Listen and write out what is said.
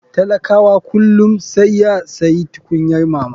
Talakawa kullum saiya sayi tukunyar mama.